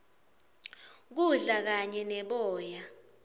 kudla kanye neboya